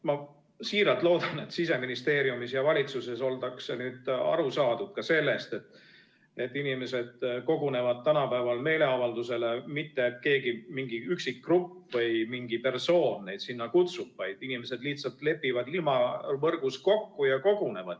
Ma siiralt loodan, et Siseministeeriumis ja valitsuses ollakse nüüd aru saadud ka sellest, et inimesed kogunevad tänapäeval meeleavaldusele mitte sellepärast, et keegi, mingi üksik grupp või mingi persoon neid sinna kutsub, vaid inimesed lihtsalt lepivad ilmavõrgus kokku ja kogunevad.